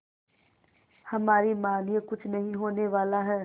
हमारी मानिए कुछ नहीं होने वाला है